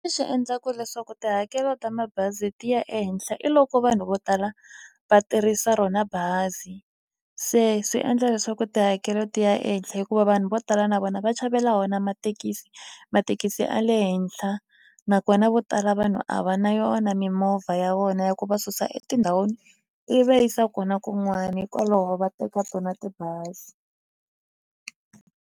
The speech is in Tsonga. endlaku leswaku tihakelo ta mabazi ti ya ehenhla i loko vanhu vo tala va tirhisa rona bazi se swi endla leswaku tihakelo ti ya ehenhle hikuva vanhu vo tala na vona va chavela wona mathekisi mathekisi a le henhla nakona vo tala vanhu a va na yona mimovha ya vona ya ku va susa etindhawini i va yisa kona kun'wani hikwalaho va teka tibazi.